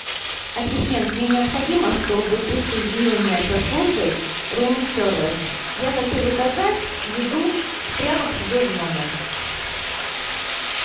ассистент мне необходимо чтобы ты соединила меня со службой рум сервис я хочу заказать еду прямо к себе в номер